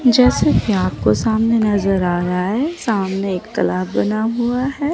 जैसे कि आपको सामने नजर आ रहा है सामने एक तालाब बना हुआ है।